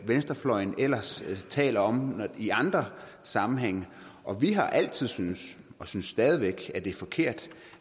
venstrefløjen ellers taler om i andre sammenhænge og vi har altid syntes og synes stadig væk at det er forkert